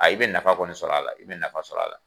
i bɛ nafa kɔni sɔrɔ a la, i bɛ nafa sɔrɔ a la.